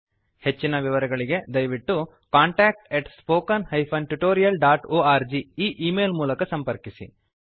ಹೆಚ್ಚಿನ ವಿವರಗಳಿಗೆ ದಯವಿಟ್ಟು contactspoken tutorialorg ಈ ಈ ಮೇಲ್ ಮೂಲಕ ಸಂಪರ್ಕಿಸಿ